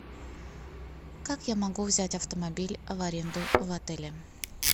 как я могу взять автомобиль в аренду в отеле